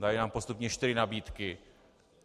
Dali nám postupně čtyři nabídky.